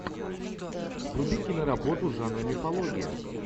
вруби киноработу жанра мифология